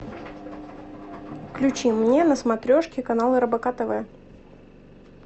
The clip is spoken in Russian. включи мне на смотрешке канал рбк тв